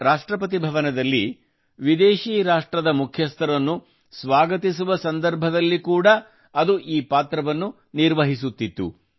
ರಾಷ್ಟ್ರಪತಿ ಭವನದಲ್ಲಿ ವಿದೇಶಿ ರಾಷ್ಟ್ರದ ಮುಖ್ಯಸ್ಥರನ್ನು ಸ್ವಾಗತಿಸುವ ಸಂದರ್ಭದಲ್ಲಿ ಕೂಡಾ ಅದು ಈ ಪಾತ್ರವನ್ನು ನಿರ್ವಹಿಸುತ್ತಿತ್ತು